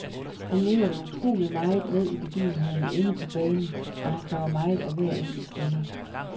Han lever utroligt meget med i begivenhederne inde på banen, og han kræver meget af hver enkelt spiller.